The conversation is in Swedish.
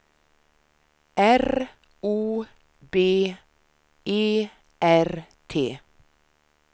R O B E R T